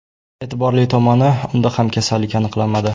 E’tiborli tomoni, unda ham kasallik aniqlanmadi.